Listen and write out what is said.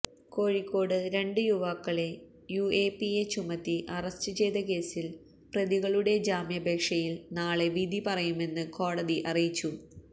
കോഴിക്കോട് രണ്ട് യുവാക്കളെ യുഎപിഎ ചുമത്തി അറസ്റ്റ് ചെയ്ത കേസിൽ പ്രതികളുടെ ജാമ്യാപേക്ഷയിൽ നാളെ വിധി പറയുമെന്ന് കോടതി അറിയിച്ചു